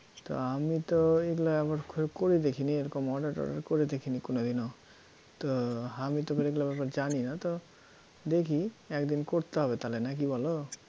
তা আমি তো এই ল~ এরকম করে দেখিনি এরকম order টর্ডার করে দেখিনি কোনোদিনও তো আমি তো এগুলার ব্যাপারে জানি না তো দেখি একদিন করতে হবে তাহলে নাকি বলো